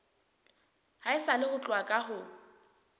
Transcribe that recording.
haesale ho tloha ka ho